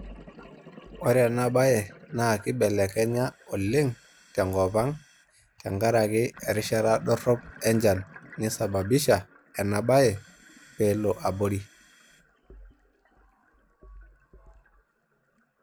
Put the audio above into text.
Ore ena bae naa kibelekenya oleng tenkop ang tenkaraki erishata dorop enchan neisababisha ena bae pee elo abori.